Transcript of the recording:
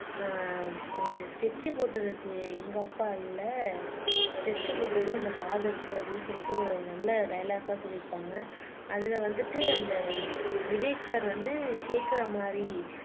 ஆஹ் அஹ் ஸ்கெச் போட்டதுக்கு எங்க அப்பா இல்லை ஸ்கெச் போட்டது அந்த ப்ஹாதர்க்கு அப்படின்னு சொல்லிட்டு ஒரு நல்ல டைலாக்லா சொல்லி இருப்பாங்க அதுல வந்துட்டு அந்த விவேக் சார் வந்து கேட்கிற மாதிரி